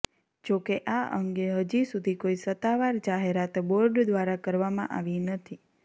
જોકે આ અંગે હજી સુધી કોઈ સત્તાવાર જાહેરાત બોર્ડ દ્વારા કરવામાં આવી નથી